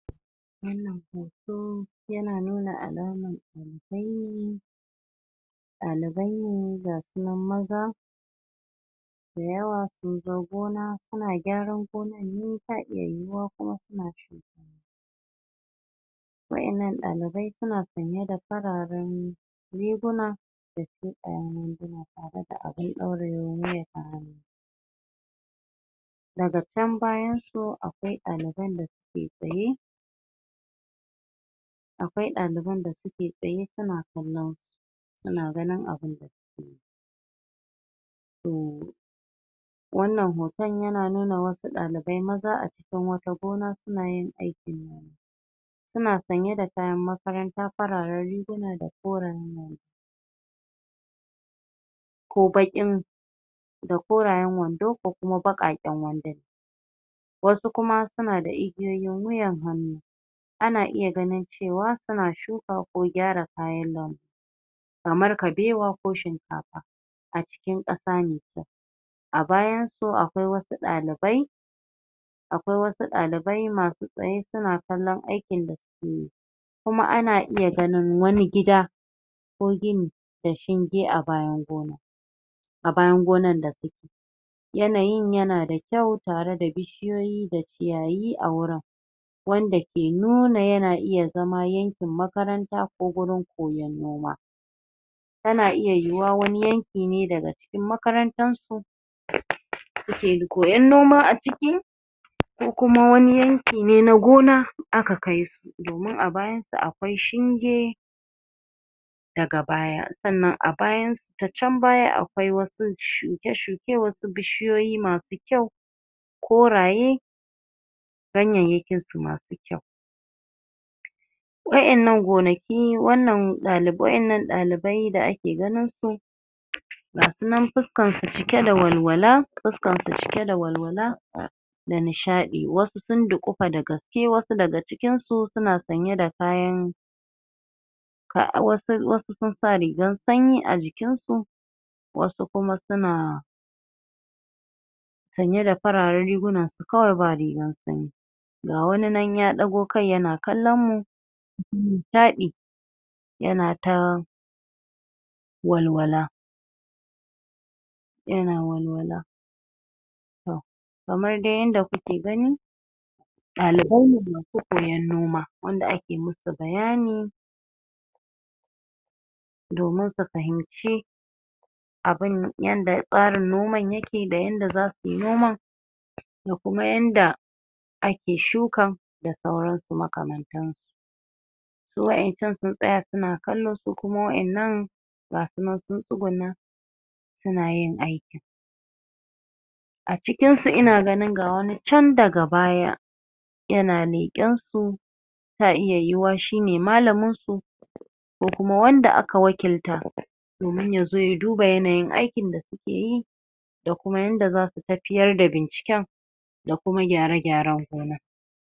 wannan hoto yana nuna alaman ɗalibai ɗalibai ne gasu nan maza da yawa sun zo gona suna gyaran gonar ne ta iya yiwuwa kuma suna shuka wa'in nan ɗalibai suna sanye da fararen riguna ƙaramar wanduna tare da abin ɗaurewar wuya ta hannu daga chan bayan su akwai ɗaliban da suke tsaye akwai ɗaliban da suke tsaye suna kallon su suna ganin abinda suke yi sooo! wannan ho.. ton yana nuna wa su ɗalibai maza a cikin wata gona suna yin aikin noma suna sanye da kayan makaranta fararen riguna da koren ko baƙin da korayen wan do ko kuma baƙaƙen wanduna wasu kuma suna da igiyoyin wuyan hannu ana iya ganin cewa suna shuka ko gyara kayan lambu kamar kabewa ko shinkafa a cikin ƙasa mai kyau a bayan su akwai wa su ɗalibai akwai wasu ɗalibai masu tsaye su na kallon ai kin da suke yi kuma ana iya ganin wani gida ko gini da shinge a bayan gona a bayan gonan da suke yanayin yana da kyau tare da bi.. shiyoyi da ciyayi a wurin wanda ke nuna yana iya zama yan kin makaranta ko gurin koyon noma tana iya yiwuwa wani yan ki ne daga yan kin makarantan su suke koyan noma a ciki ko kuma wani yan ki ne na gona aka kai su domin a bayan su akwai shinge daga baya sannan a bayan su ta chan baya a kwai wa su shuke-shu ke wa su bishiyoyi masu kyau korayee ganyayyakin su masu kyau wa'in nan gona ki wannan ɗalib wa'in nan ɗalib bai da ake ke ganin su ga sunan fus.. kan su cike da walwala fuskansu cike da walwala da nishaɗi wasu sun duƙufa da gaske wasu daga ci kin su suna sanye da kayan wasu sun wasu sun sa rigan su sanyi a jikin su wasu kuma sunaa sanye da fararen riguna kawai ba rigan sanyi ga wani nan ya ɗago kai yana kallon mu shaɗi yana ta walwala yana walwala tohh! kamar dai yadda kuke gani ɗalibai ne su koyan noma wanda ake mu su bayanii domin su fahim ci abin yanda tsarin noman ya ke da yadda za suyi noman ko kuma yanda ake shukan da sauran su makamantan su su wa'in chan sun tsaya suna kallo su kuma wa'in nan ga sunan sun tsugunna suna yin aiki a cikin su ina ganin ga wani chan daga baya yana leƙen su ta iya yiyiwa shi ne malamin su ko kuma wanda aka wakilta domin ya zo ya duba yanayin ai kin da suke yi da kuma yanda zasu tafiyar da binciken da kuma gyara-gyaren gona.